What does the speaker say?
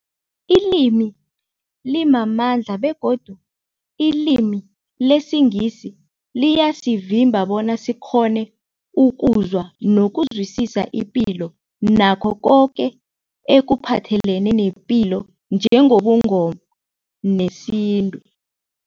Ilimi limamandla begodu ilimi lesiNgisi liyasivimba bona sikghone ukuzwa nokuzwisisa ipilo nakho koke ekuphathelene nepilo njengobuNgoma nesintu.